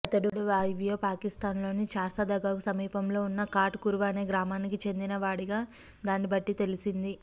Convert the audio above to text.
అతడు వాయువ్య పాకిస్తాన్లోని చార్సద్దాకు సమీపంలో ఉన్న ఖాట్ కురునా అనే గ్రామానికి చెందిన వాడిగా దాన్నిబట్టి తెలిసింది